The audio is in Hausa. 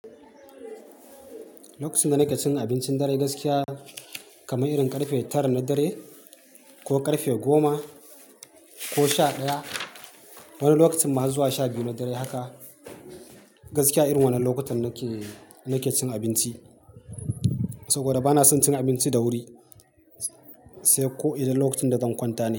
Lokacin da nake cin abincin dare gaskiya kamar irin karfe tara na dare, ko karfe goma, ko sha ɗaya, wani lokacin ma har zuwa sha biyu na dare haka, Gaskiya irin wannan lokutan nake, nake cin abinci saboda bana son cin abinci da wuri, sai ko idan lokacin da zan kwanta ne.